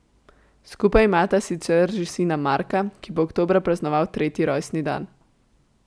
Skupaj imata sicer že sina Marka, ki bo oktobra praznoval tretji rojstni dan.